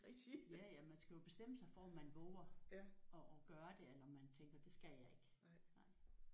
Ja ja man skal jo bestemme sig for om man vover at at gøre det eller om man tænker det skal jeg ikke